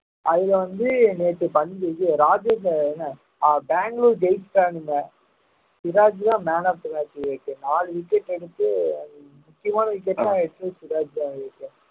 அதுல வந்து நேத்து பஞ்~ இது ராஜேந்திரன் என்ன ஆஹ் பெங்களூர் ஜெயிச்சுட்டானுங்க சிராஜ்ஜிதான் இருக்கு நாலு wicket எடுத்து முக்கியமான wicket ன்னா